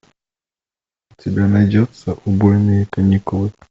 у тебя найдется убойные каникулы